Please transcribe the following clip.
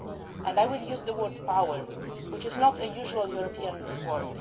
of our power. And I will use the word ʽpowerʼ, which is not a usual